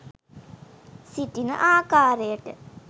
සිටින ආකාරයට